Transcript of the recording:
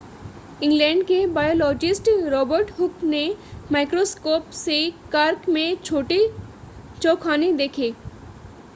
England के biologist Robert Hooke ने microscope से कॉर्क में छोटे चौखाने देखे